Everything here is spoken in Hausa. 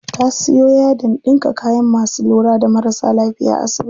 Ta siyo yadin ɗinka kayan masu lura da marasa lafiya a asibiti.